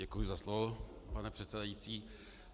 Děkuji za slovo, pane předsedající.